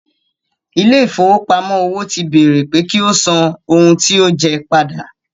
Ilé ìfowópamọ́ òwò ti béèrè pé kí ó san ohun tí ó jẹ ẹ́ padà.